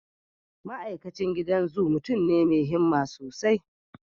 Ma'aikacin gidan zu mutum ne mai himma sosai.